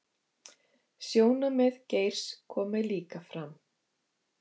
Sjónarmið Geirs komi líka fram